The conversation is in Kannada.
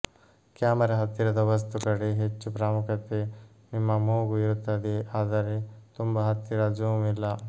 ಕ್ಯಾಮೆರಾ ಹತ್ತಿರದ ವಸ್ತು ಕಡೆ ಹೆಚ್ಚು ಪ್ರಾಮುಖ್ಯತೆ ನಿಮ್ಮ ಮೂಗು ಇರುತ್ತದೆ ಆದರೆ ತುಂಬಾ ಹತ್ತಿರ ಜೂಮ್ ಇಲ್ಲ